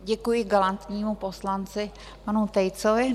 Děkuji galantnímu poslanci panu Tejcovi.